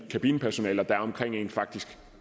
kabinepersonale der er omkring en faktisk